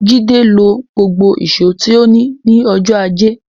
Jídé lo gbogbo ìṣó tí ó ní ní ọjọ́ ajé.